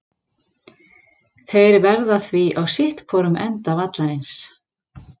Þeir verða því á sitthvorum enda vallarins.